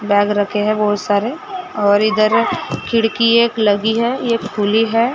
Bag रखे है बहुत सारे और इधर एक खिड़की एक लगी है एक खुली है।